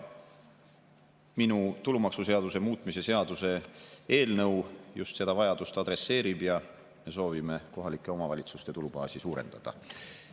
Minu tulumaksuseaduse muutmise seaduse eelnõu just seda vajadust adresseerib ja me soovime kohalike omavalitsuste tulubaasi suurendada.